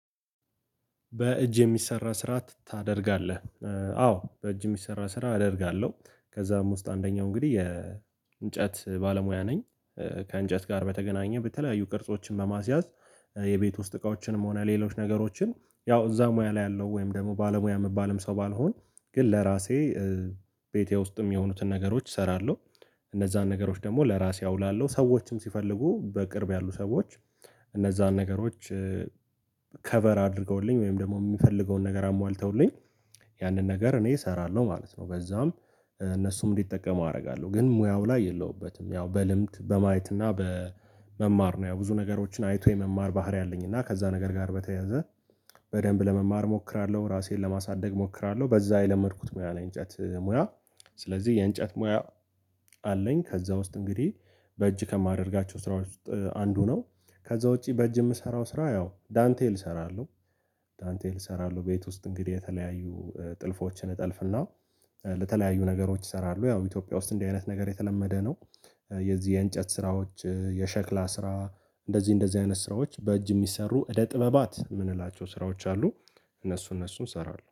በእጅ የሚሰራ ስራ ታደርጋለህ አዎ በእጅ የሚሰራ ስራ አደርጋለሁ ከዛም ውስጥ አንደኛው እንግዲህ የእንጨት ባለሙያ ነኝ ከእንጨት ጋር በተገናኘ በተለያዩ ቅርጾችን በማስያዝ የቤት ውስጥ እቃዎችንም ሆነ ሌሎች ነገሮችን ያው እዛ ሙያ ላይ ያለው ወይም ደግሞ ባለሙያ የምባልም ሰው ባልሆን ግን ለራሴ ቤቴ ውስጥም የሆኑትን ነገሮች እሰራለሁ እነዛን ነገሮች ደግሞ ለራሴ አውላለሁ ሰዎችም ሲፈልጉ በቅርብ ያሉ ሰዎች እነዛን ነገሮች ከቨር አድርገውልኝ ወይም ደግሞ የሚፈልገውን ነገር አሟልተውልኝ ያንን ነገር እኔ እሰራለሁ ማለት ነው፤ በዛውም እነሱም እንዲጠቀሙ አደርጋለሁ ግን ሙያው ላይ የለሁበትም ያው በልምድ በማየት እና በመማር ነው ያ ብዙ ነገሮችን አይቶ የመማር ባህሪ አለኝ እና ከዛ ነገር ጋር በተያያዘ በደንብ ለመማር እሞክራለሁ፤ ራሴን ለማሳደግ እሞክራለሁ፤ በዛ የለመድኩት ሙያ ነው የእንጨት ሙያ ስለዚህ የእንጨት ሙያ አለኝ ከዛ ውስጥ እንግዲህ በእጅ ከማደርጋቸው ስራዎች ውስጥ አንዱ ነው ከዛ ውጪ በእጅ የምሰራው ስራ ያው ዳንቴል እሰራለሁ ዳንቴል እሰራለሁ ቤት ውስጥ እንግዲህ የተለያዩ ጥልፎችን እጠልፍና ለተለያዩ ነገሮች ይሰራሉ ያው ኢትዮጵያ ውስጥ እንዲህ አይነት ነገር የተለመደ ነው። የዚህ የእንጨ፣ ስራዎች የሸክላ ስራ፣ እንደዚህ እንደዚህ አይነት ስራዎች በእጅ የሚሰሩ እደ ጥበባት የምንላቸው ስራዎች አሉ፤ እነሱ እነሱን እሰራለሁ